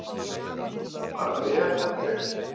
Bara vel held ég.